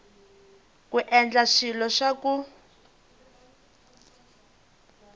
ku endla swilo swa ku